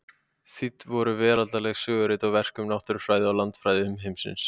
Þýdd voru veraldleg sögurit og verk um náttúrufræði og landafræði umheimsins.